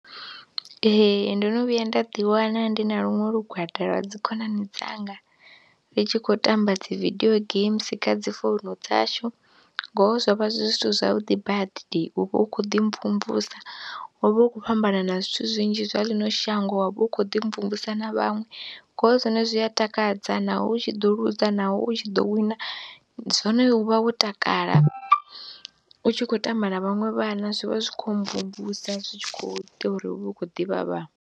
Ee, ndo no vhuya nda ḓiwana ndi na luṅwe lugwada lwa dzi khonani dzanga ri tshi khou tamba dzi vidio games kha dzi founu dzashu ngoho zwo vha zwi zwithu zwavhuḓi badi u vha u khou ḓi mvumvusa, u vha u khou fhambanana zwithu zwinzhi zwa ḽino shango wa vha u khou ḓi mvumvusa na vhaṅwe, ngoho zwone zwi a takadza naho u tshi ḓo luza naho u tshi ḓo wina, zwone u vha wo takala u tshi khou tamba na vhaṅwe vhana zwi vha zwi khou mvumvusa zwi tshi khou ita uri u vhe u khou ḓivha vhaṅwe.